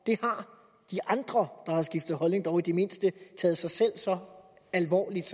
har de andre der har skiftet holdning dog i det mindste taget sig selv så alvorligt